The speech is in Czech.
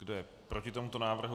Kdo je proti tomuto návrhu?